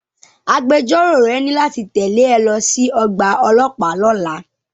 Agbẹjọ́rò rẹ ní láti tẹ̀lé ẹ lọ sí ọgbà ọlọ́pàá lọ́la.